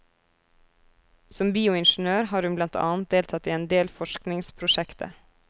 Som bioingeniør har hun blant annet deltatt i endel forskningsprosjekter.